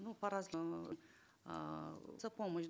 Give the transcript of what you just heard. ну по разному эээ за помощь